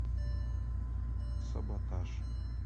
саботаж